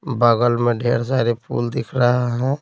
बगल में ढेर सारे फूल दिख रहा है।